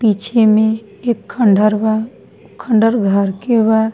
पीछे में एक खंडहर बा खंडहर घर के बा।